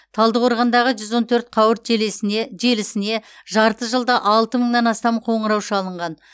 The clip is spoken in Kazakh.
талдықорғандағы жүз он төрт қауырт желесіне желісіне жарты жылда алты мыңнан астам қоңырау шалынған